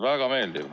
Väga meeldiv.